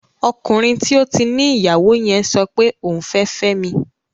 Ọkùnrin tí ó ti ní ìyàwó yẹn sọpe òun fẹ́ fẹ́mi